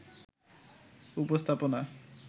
উপস্থাপনা